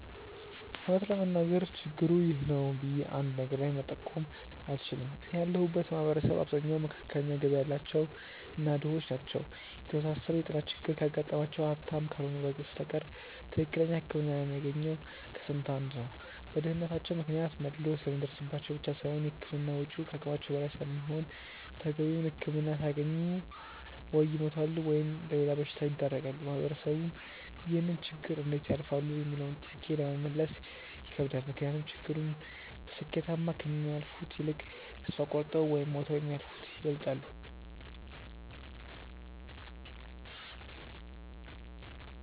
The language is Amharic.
እውነት ለመናገር ችግሩ 'ይህ ነው' ብዬ አንድ ነገር ላይ መጠቆም አልችልም። እኔ ያለሁበት ማህበረሰብ አብዛኛው መካከለኛ ገቢ ያላቸው እና ድሆች ናቸው። የተወሳሰበ የጤና ችግር ካጋጠማቸው ሀብታም ካልሆኑ በስተቀር ትክክለኛ ህክምና የሚያገኘው ከስንት አንድ ነው። በድህነታቸው ምክንያት መድሎ ስለሚደርስባቸው ብቻ ሳይሆን የህክምና ወጪው ከአቅማቸው በላይ ስለሚሆን ተገቢውን ህክምና ሳያገኙ ወይ ይሞታሉ ወይም ለሌላ በሽታ ይዳረጋሉ። ማህበረሰቡም ይህንን ችግር እንዴት ያልፋሉ ሚለውንም ጥያቄ ለመመለስ ይከብዳል። ምክንያቱም ችግሩን በስኬታማ ከሚያልፉት ይልቅ ተስፋ ቆርጠው ወይም ሞተው የሚያልፉት ይበልጣሉ።